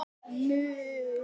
Stytta ykkur leið!